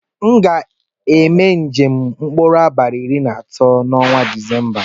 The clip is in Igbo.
Mu ga eme njem na mkpụrụ abali iri na atọ na ọnwa disemba.